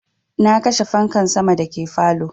Na kashe fanka sama da ke falow